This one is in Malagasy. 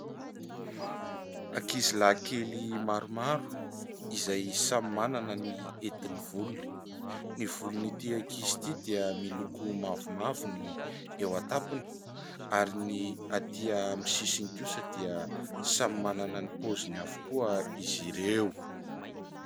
Ankizilahikely maromaro izay samy manana ny hetin'ny volony, ny volon'ity ankizy ity dia miloko mavomavo ny eo an-tampony ary ny atỳ amin'ny sisiny kosa dia samy manana ny paoziny avokoa izy ireo.